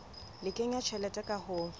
le kenya tjhelete ka ho